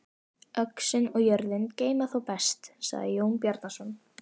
Öxin og jörðin geyma þá best, sagði Jón Bjarnason.